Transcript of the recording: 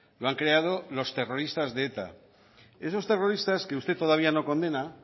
lo han creado los terroristas de eta esos terroristas que usted todavía no condena